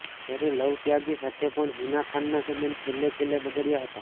જ્યારે લવ ત્યાગી સાથે પણ હીના ખાનના સંબંધ છેલ્લે છેલ્લે બગડયા હતા